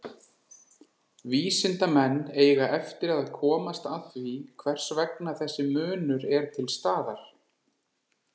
Vísindamenn eiga eftir að komast að því hvers vegna þessi munur er til staðar.